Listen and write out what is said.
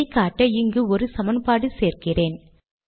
இதை காட்ட இங்கு ஒரு சமன்பாடு சேர்க்கிறேன்